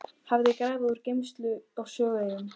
hafði grafið úr gleymsku á Sögueyjunni.